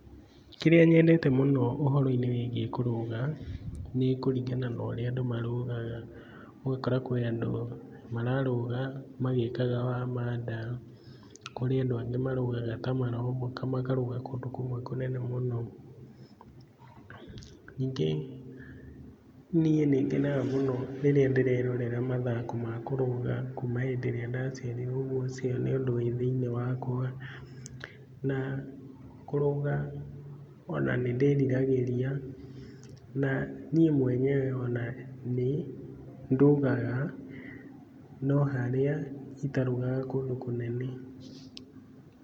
Kĩrĩa nyendete mũno ũhoro-inĩ wĩgiĩ kũrũga nĩ kũringana na ũrĩa andũ marũgaga. Ũgakora kwĩ andũ marũgaga magĩkaga wamandang'a, kũrĩ andũ angĩ marũgaga ta marombũka makarũga kũndũ kũmwe kũnene mũno. Ningĩ niĩ nĩ ngenaga mũno rĩrĩa ndĩrerorera mathako ma kũrũga kuma hĩndĩ ĩrĩa ndaciarirwo ũcio nĩ ũndũ wĩ thĩinĩ wakwa. Na kũrũga ona nĩ ndiriragĩria, na niĩ mwenyewe ona nĩ ndũgaga no harĩa itarũgaga kũndũ kũnene.